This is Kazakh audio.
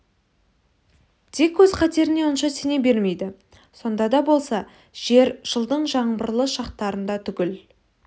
дик өз қатеріне онша сене бермейді сонда да болса жер жылдың жаңбырлы шақтарында түгел